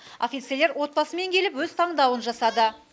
офицерлер отбасымен келіп өз таңдауын жасады